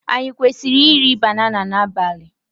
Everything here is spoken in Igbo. Anyị kwesịrị iri banana n'abalị?